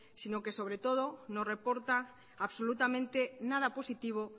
sino que sobre todo nos reporta absolutamente nada positivo